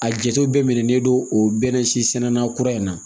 A jate bɛɛ minɛlen don o bɛnɛ si sɛnɛna kura in na